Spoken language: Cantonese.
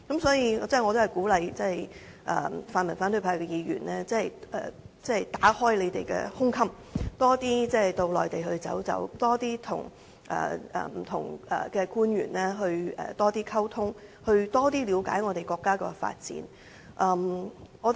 所以，我鼓勵泛民反對派的議員打開胸襟，多點前往內地，多點與官員溝通，多點了解國家的發展。